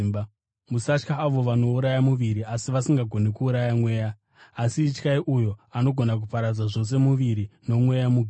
Musatya avo vanouraya muviri asi vasingagoni kuuraya mweya. Asi ityai uyo anogona kuparadza zvose muviri nomweya mugehena.